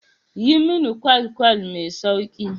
Yi mini ƙwal-ƙwal mai sauƙi.